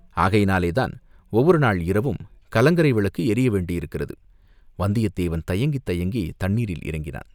ஆகையினாலே தான் ஒவ்வொரு நாள் இரவும் கலங்கரை விளக்கு எரிய வேண்டியிருக்கிறது!" வந்தியத்தேவன் தயங்கித் தயங்கி தண்ணீரில் இறங்கினான்.